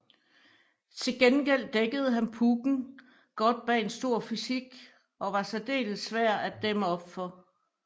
Til gengæld dækkede han pucken godt bag en stor fysik og var særdeles svær at dæmme op for